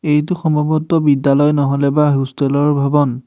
এইটো সম্ভৱতঃ বিদ্যালয় ন'হলেবা হোষ্টেলৰ ভৱন।